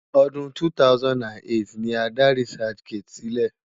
Ọdún 2008 ni a dá researchgate sílẹ̀.